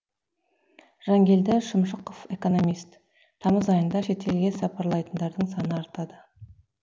жангелді шымшықов экономист тамыз айында шет елге сапарлайтындардың саны артады